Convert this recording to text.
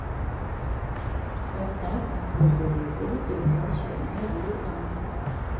поставь на телевизоре передачу ариранг